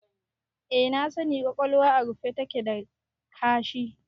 Eh na sani, ƙwaƙwalwa a rufe take da ƙashi